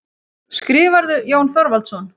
Skrifarðu, Jón Þorvaldsson?